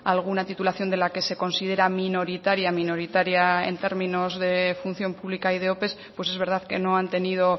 alguna titulación de la que se considera minoritaria minoritaria en términos de función pública y de ope pues es verdad que no han tenido